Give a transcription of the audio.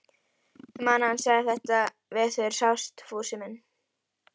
Ég man að hann sagði: Þetta verður sárt, Fúsi minn.